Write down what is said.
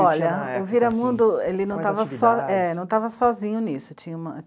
Olha, o Viramundo, ele não estava sozinho nisso. Tinha uma